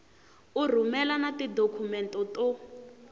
u rhumela na tidokhumente to